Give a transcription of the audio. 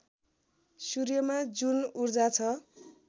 सूर्यमा जुन ऊर्जा छ